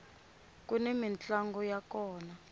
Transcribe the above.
kuni mintlango ya kona